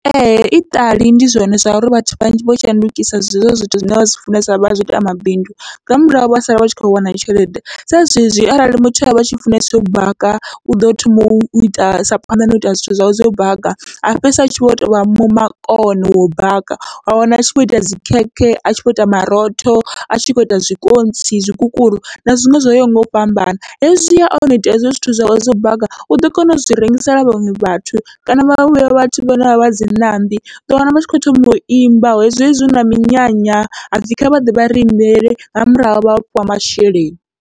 Ee iṱali ndi zwone zwauri vhathu vhanzhi vho shandukisa zwezwo zwithu zwine vha zwi funesa vha zwiita mabindu nga murahu vha sala vha tshi kho wana tshelede, sa zwezwi arali muthu avha atshi funesa u baka uḓo thoma uita aisa phanḓa nau ita zwithu zwawe zwo u baka, a fhedzisela atshi vho tovha makone wau baka wa wana atshi vho ita dzi khekhe, atshi vho ita marotho, atshi kho ita zwikontsi, zwikukuru na zwiṅwe zwo yaho ngau fhambana. Hezwi ya ono ita hezwo zwithu zwawe zwo baga, uḓo kona u zwi rengisela vhaṅwe vhathu kana vha vhuya vhathu vhane vha vha dzi ṋambi, uḓo wana vha tshi kho thoma uimba zwezwi huna minyanya hapfhi kha vhaḓe vha ri imbele nga murahu vha fhiwa masheleni.